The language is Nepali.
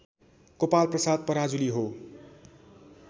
गोपालप्रसाद पराजुली हो